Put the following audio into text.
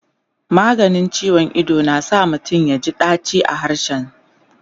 maganin ciwon Ido na sa mutum yaji daci a harshe